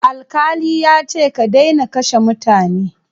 Alkali yace ka daina kashe mutane.